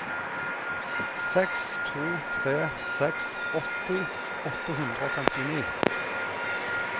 seks to tre seks åtti åtte hundre og femtini